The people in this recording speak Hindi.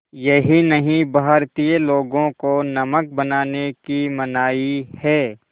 यही नहीं भारतीय लोगों को नमक बनाने की मनाही है